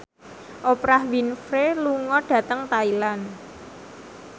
Oprah Winfrey lunga dhateng Thailand